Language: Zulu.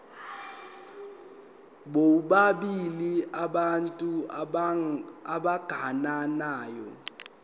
bobabili abantu abagananayo